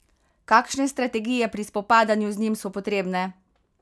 Kakšne strategije pri spopadanju z njim so potrebne?